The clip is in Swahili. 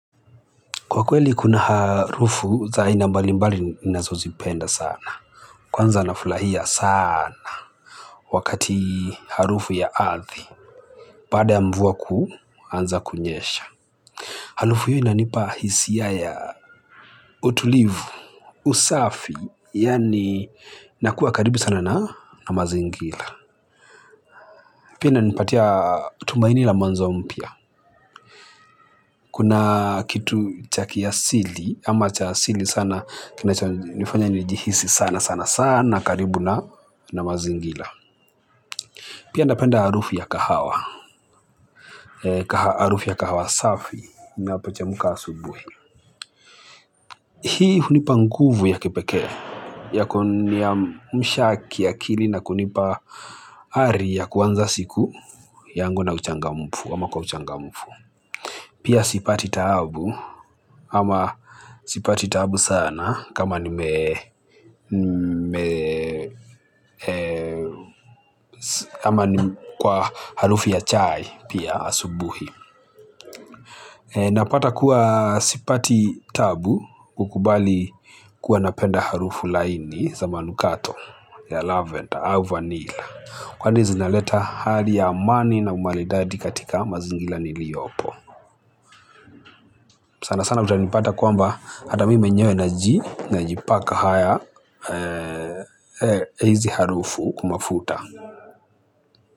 Kwa kweli kuna harufu za aina mbali mbali ninazozipenda sana. Kwanza nafurahia sana. Wakati harufu ya ardhi. Baada ya mvua kuanza kunyesha. Harufu hiyo inanipa hisi ya utulivu, usafi. Yani nakuwa karibu sana na mazingira. Pia inanipatia tumaini la mwanzo mpya. Kuna kitu cha kiasili, ama cha asili sana. Kinachonifanya nijihisi sana sana sana karibu na na mazingira. Pia napenda harufu ya kahawa. Harufu ya kahawa safi inapochemka asubuhi. Hii hunipa nguvu ya kepekee ya kuniamsha kiakili na kunipa hari ya kuanza siku yangu na uchangamufu ama kwa uchangamufu. Pia sipati taabu ama sipati taabu sana kama nime kwa harufi ya chai pia asubuhi. Napata kuwa sipati taabu kukubali kuwa napenda harufu laini za manukato ya lavender au vanilla. Kwani zinaleta hali ya amani na umaridadi katika mazingira niliyopo. Sana sana utanipata kwamba hata mimi mwenyewe najipaka haya, hizi harufu kwa mafuta.